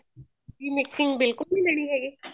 ਵੀ mixing ਬਿਲਕੁਲ ਨੀ ਦੇਣੀ ਹੈਗੀ